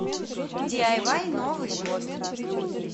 диайвай новый год